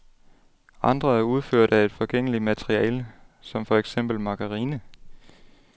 Andre er udført af et forgængeligt materiale som for eksempel margarine.